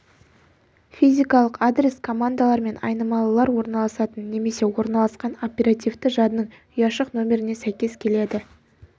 физикалық адрес командалар мен айнымалылар орналасатын немесе орналасқан оперативті жадының ұяшық нөміріне сәйкес келеді